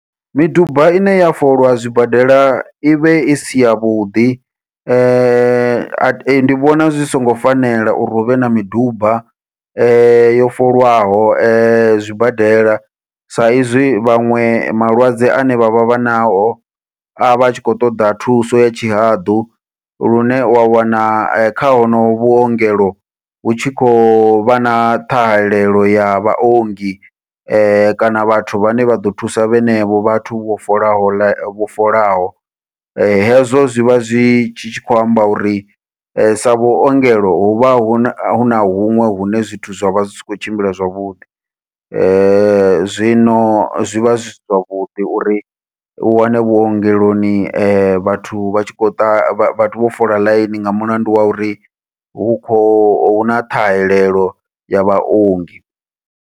Miduba ine ya folwa zwibadela ivhe isi yavhuḓi, ndi vhona zwi songo fanela uri huvhe na miduba yo folwaho zwibadela, sa izwi vhaṅwe malwadze ane vha vha vha nao avha atshi khou ṱoḓa thuso ya tshihaḓu, lune wa wana kha honoho vhuongelo hu tshi khovha na ṱhahelelo ya vhaongi, kana vhathu vhane vha ḓo thusa vhenevho vhathu vho folaho ḽaini vho folaho. Hezwo zwivha zwi tshi tshi khou amba uri sa vhuongelo huvha huna huna huṅwe hune zwithu zwa vha zwi si khou tshimbila zwavhuḓi, zwino zwivha zwi zwavhuḓi uri u wane vhuongeloni vhathu vha tshi khou ḓa vhathu vho fola ḽaini nga mulandu wa uri hu kho huna ṱhahelelo ya vhaongi.